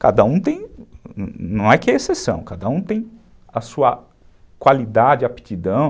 Cada um tem, não é que é exceção, cada um tem a sua qualidade, aptidão.